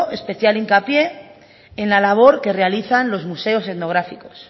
especial hincapié en la labor que realizan los museos etnográficos